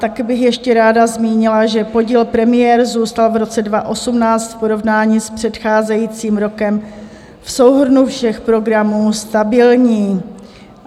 Taky bych ještě ráda zmínila, že podíl premiér zůstal v roce 2018 v porovnání s předcházejícím rokem v souhrnu všech programů stabilní.